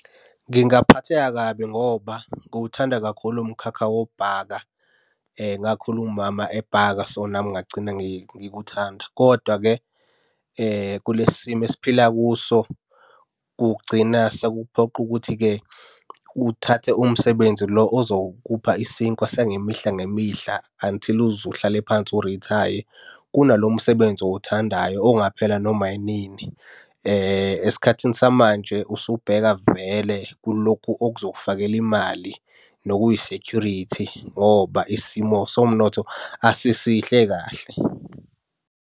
Ngingaphatheka kabi ngoba ngiwuthanda kakhulu umkhakha wokubhaka, ngakhula umama ebhaka so, nami ngagcina ngikuthanda, kodwa-ke kulesi simo esiphila kuso kugcina sekukuphoqa ukuthi-ke uthathe umsebenzi lo ozokupha isinkwa sangemihla ngemihla unti uze uhlale phansi urithaye. Kunalo msebenzi owuthandayo ongaphela noma yinini. Esikhathini samanje usubheka vele kulokhu okuzokufakela imali nokuyi-security ngoba isimo somnotho asisihle kahle.